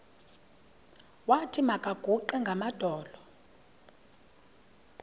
wathi makaguqe ngamadolo